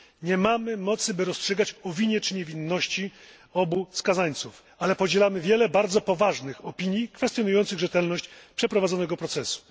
Nie mamy mocy, by rozstrzygać o winie czy niewinności obu skazańców, ale podzielamy wiele bardzo poważnych opinii kwestionujących rzetelność przeprowadzonego procesu.